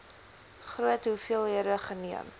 groot hoeveelhede geneem